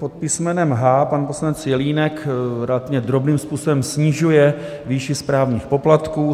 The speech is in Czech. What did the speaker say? Pod písmenem H pan poslanec Jelínek relativně drobným způsobem snižuje výši správních poplatků.